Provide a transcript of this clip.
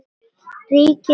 ríkir mjög.